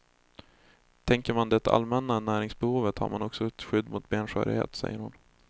Täcker man det allmänna näringsbehovet har man också ett skydd mot benskörhet, säger hon.